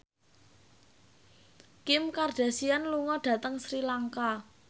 Kim Kardashian lunga dhateng Sri Lanka